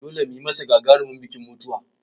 Dole mu yi masa gagarumin bikin mutuwa!